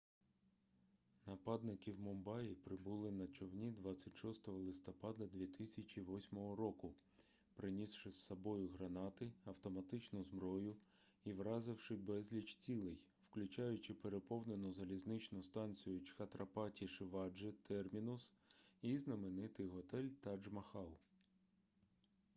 нападники в мумбаї прибули на човні 26 листопада 2008 року принісши з собою гранати автоматичну зброю і вразивши безліч цілей включаючи переповнену залізничну станцію чхатрапаті-шиваджи термінус і знаменитий готель тадж-махал